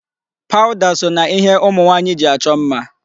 Powder so na ihe ụmụ nwaanyị ji achọ mma.